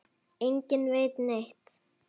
Enginn veit neitt.